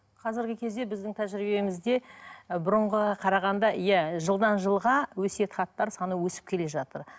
қазіргі кезде біздің тәжірибемізде ы бұрынғыға қарағанда иә жылдан жылға өсиет хаттар саны өсіп келе жатыр